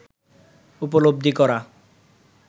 উপলব্ধি করা